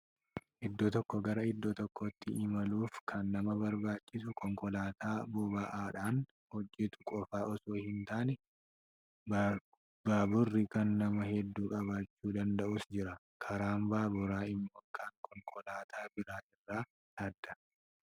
Iddoo tokkoo gara iddoo tokkootti imaluuf kan nama barbaachisu konkolaataa bobo'aadhaan hojjetu qofa osoo hin taane, baaburri kan nama hedduu qabachuu danda'us jira. Karaan baaburaa immoo kan konkolaataa biraa irraa adda.